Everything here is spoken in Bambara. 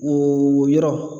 O yɔrɔ